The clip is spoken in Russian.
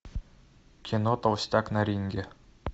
кино толстяк на ринге